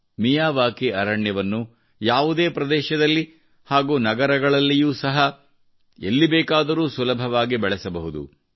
Miyawaki ಅರಣ್ಯವನ್ನು ಯಾವುದೇ ಪ್ರದೇಶದಲ್ಲಿ ಹಾಗೂ ನಗರಗಳಲ್ಲಿಯೂ ಸಹ ಸುಲಭವಾಗಿ ಬೆಳೆಸಬಹುದು